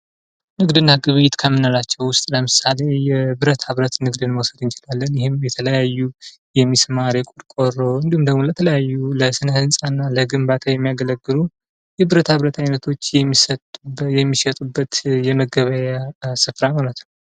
ንግድ እና ግብይት ከምንላቸው ዉስጥ ለምሳሌ ብረታ-ብረት ንግድ ልንወስድ እንችላለን ይህም የተለያዩ የምስማር የቆርቆሮ እንዲሁም ለተለያዩ ህንጻ እና ለግንባታ የሚያገለግሉ የብረታ-በረት አይነቶች የሚሸጡበት የመገበያያ እይነት ነው።